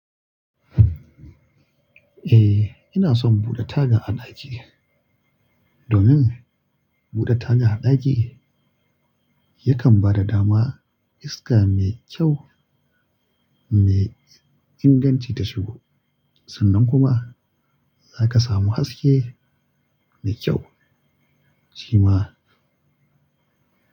Eh, ina son buɗe taga a ɗaki domin buɗe taga a ɗaki yakan ba da dama iska mai kyau mai inganci ta shigo. Sannan kuma zaka samu haske mai kyau. Shima.